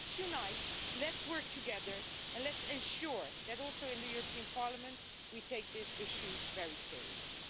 So let's unite, let's work together and let's ensure that in the European Parliament too, we take this issue very seriously.